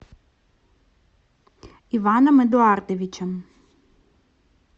иваном эдуардовичем